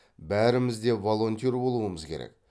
бәріміз де волонтер болуымыз керек